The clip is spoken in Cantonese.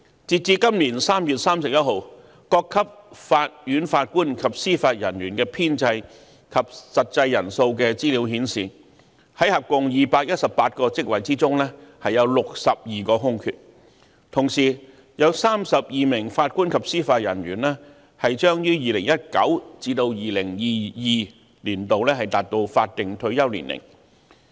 截至今年3月31日，各級法院法官及司法人員的編制及實際人數的資料顯示，在合共218個職位中，有62個空缺，同時有32名法官及司法人員將於2019年至2022年達到法定退休年齡。